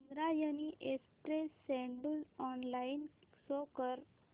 Indrayani express schedule online show कर